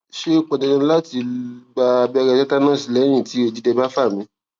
ṣé ó pọn dandan lati gba abẹrẹ tetanus lẹyin ti odidẹ ba fa mi